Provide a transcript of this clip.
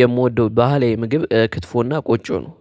የምወደው ባህላዊ ምግብ ክትፎና ቆጭ ነው።